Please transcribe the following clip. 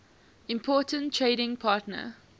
important trading partner